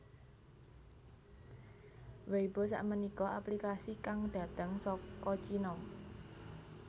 Weibo sakmenika aplikasi kang dhateng saka Cino